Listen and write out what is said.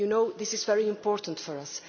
This is very important for us.